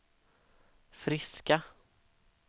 friska